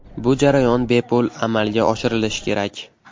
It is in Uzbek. Bu jarayon bepul amalga oshirilishi kerak.